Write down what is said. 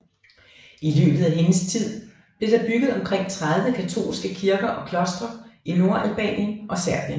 I løbet af hendes tid blev der bygget omkring 30 katolske kirker og klostre i Nordalbanien og Serbien